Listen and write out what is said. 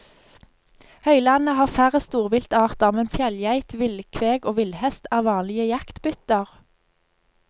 Høylandet har færre storviltarter, men fjellgeit, villkveg og villhest er vanlige jaktbytter.